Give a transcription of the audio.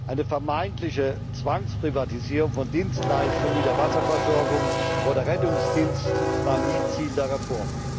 Eine vermeintliche Zwangsprivatisierung von Dienstleistungen wie der Wasserversorgung oder Rettungsdiensten war nie Ziel der Reform.